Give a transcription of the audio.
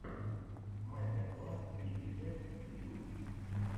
мастер класс крипи кэт ютьюб